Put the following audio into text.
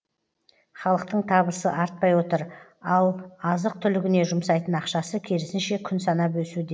халықтың табысы артпай отыр ал азық түлігіне жұмсайтын ақшасы керісінше күн санап өсуде